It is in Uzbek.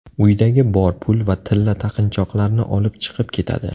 Uydagi bor pul va tilla taqinchoqlarni olib chiqib ketadi.